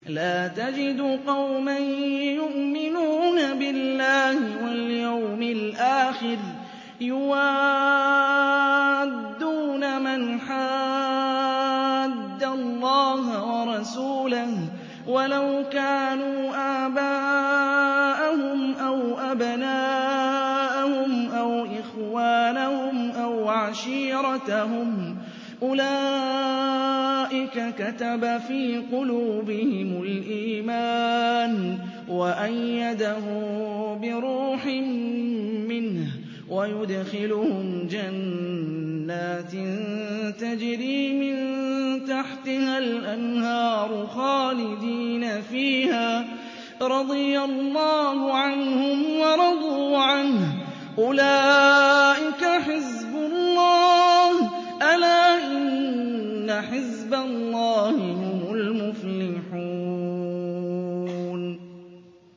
لَّا تَجِدُ قَوْمًا يُؤْمِنُونَ بِاللَّهِ وَالْيَوْمِ الْآخِرِ يُوَادُّونَ مَنْ حَادَّ اللَّهَ وَرَسُولَهُ وَلَوْ كَانُوا آبَاءَهُمْ أَوْ أَبْنَاءَهُمْ أَوْ إِخْوَانَهُمْ أَوْ عَشِيرَتَهُمْ ۚ أُولَٰئِكَ كَتَبَ فِي قُلُوبِهِمُ الْإِيمَانَ وَأَيَّدَهُم بِرُوحٍ مِّنْهُ ۖ وَيُدْخِلُهُمْ جَنَّاتٍ تَجْرِي مِن تَحْتِهَا الْأَنْهَارُ خَالِدِينَ فِيهَا ۚ رَضِيَ اللَّهُ عَنْهُمْ وَرَضُوا عَنْهُ ۚ أُولَٰئِكَ حِزْبُ اللَّهِ ۚ أَلَا إِنَّ حِزْبَ اللَّهِ هُمُ الْمُفْلِحُونَ